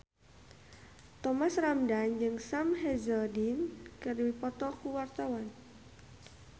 Thomas Ramdhan jeung Sam Hazeldine keur dipoto ku wartawan